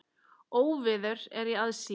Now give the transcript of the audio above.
Óveður er í aðsigi.